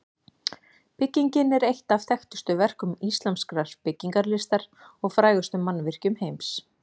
Byggingin er eitt af þekktustu verkum íslamskrar byggingarlistar og frægustu mannvirkjum heims.